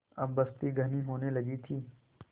अब बस्ती घनी होने लगी थी